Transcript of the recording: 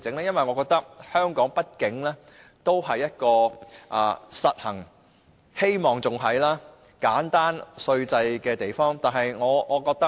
因為我覺得並希望香港仍是一個實行簡單稅制的地方。